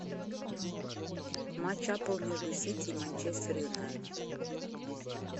матч апл между сити и манчестер юнайтед